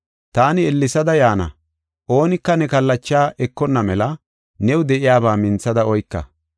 Taani ellesada yaana; oonika ne kallachaa ekonna mela new de7iyaba minthada oyka.